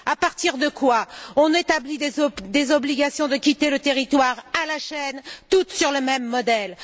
À partir de là, on établit des obligations de quitter le territoire à la chaîne, toutes sur le même modèle.